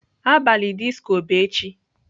Abalị disco bụ echi.